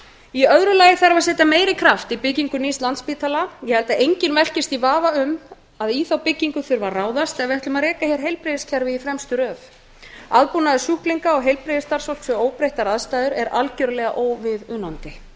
í öðru lagi þarf að setja meiri kraft í byggingu nýs landspítala ég held að enginn velkist í vafa um að í þá byggingu þurfi að ráðast ef við ætlum að reka hér heilbrigðiskerfi í fremstu röð aðbúnaður sjúklinga og heilbrigðisstarfsfólks við óbreyttar aðstæður er algerlega óviðunandi